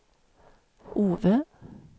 Ove